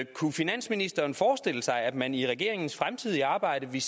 kunne finansministeren forestille sig at man i regeringens fremtidige arbejde ville